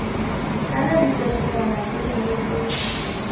kana ditshedinyana tse dingwe tse